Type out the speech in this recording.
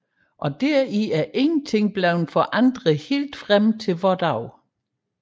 Deri er intet ændret helt frem til vore dage